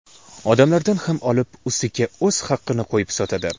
Odamlardan ham olib, ustiga o‘z haqini qo‘yib sotadi.